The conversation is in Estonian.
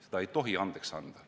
Seda ei tohi andeks anda.